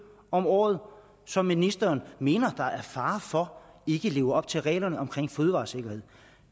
om året som ministeren mener der er fare for ikke lever op til reglerne om fødevaresikkerhed